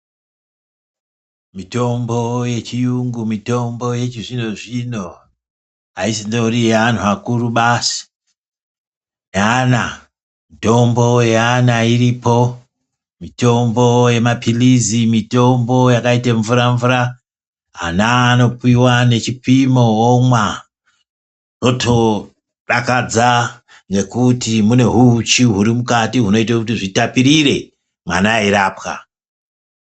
Mitombo yechiyungu mitombo yechizvino-zvino haisindiri yevantu vakuru basi. Yaana mitombo yaana iripo mitombo yamaphirizi mitombo yakaita mvura-mvura. Ana anopiva ane chipimo vomwa votodakadza nekuti mune huchi huri mukati hunoite kuti hutapirire mwana eirapwa.